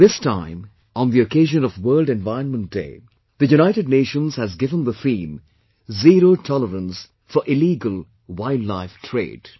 This time on the occasion of World Environment Day, the United Nations has given the theme "Zero Tolerance for Illegal Wildlife Trade"